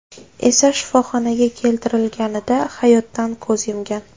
esa shifoxonaga keltirilganida hayotdan ko‘z yumgan.